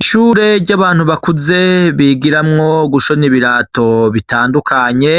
Ishure ry'abantu bakuze bigiramwo gushona ibirato bitandukanye,